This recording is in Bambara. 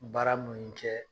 Baara cɛ.